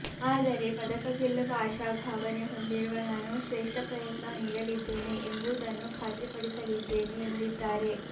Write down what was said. ಆದರೆ ಪದಕ ಗೆಲ್ಲುವ ಆಶಾಭಾವನೆ ಹೊಂದಿರುವ ನಾನು ಶ್ರೇಷ್ಠ ಪ್ರಂುುತ್ನ ನೀಡಲಿದ್ದೇನೆ ಎಂಬುದನ್ನು ಖಾತ್ರಿಪಡಿಸಲಿದ್ದೇನೆ ಎಂದಿದ್ದಾರೆ